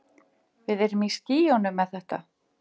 Við erum í skýjunum með þetta.